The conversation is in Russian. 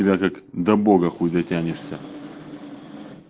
тебя как до бога худеть тянешься